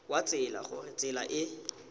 wa tsela gore tsela e